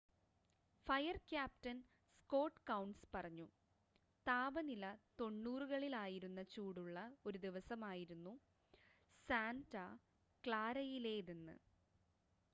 "Fire captain Scott കൗൺസ് പറഞ്ഞു "താപനില 90കളിൽ ആയിരുന്ന ചൂടുള്ള ഒരു ദിവസമായിരുന്നു സാന്റ ക്ലാരയിലേതെന്ന്.